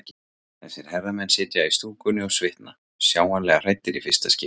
Þessir herramenn sitja í stúkunni og svitna, sjáanlega hræddir í fyrsta skipti.